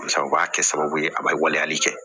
Sabu u b'a kɛ sababu ye a bɛ waleyali kɛ